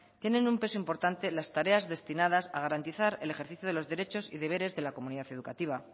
tienen un peso importante las tareas destinadas a garantizar el ejercicio de los derechos y deberes de la comunidad educativa